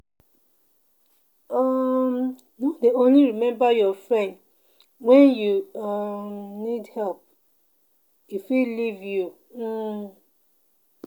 um No dey only remember your friend wen you um need help, e fit leave you. um